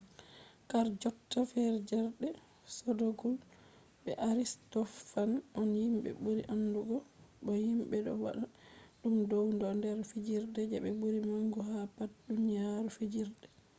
harjotta fijerde sodokuls be aristofans on himɓe ɓuri andugo bo himɓe ɗo mana ɗum dow ɗon nder fijerde je ɓuri mangu ha pat duniya fijerde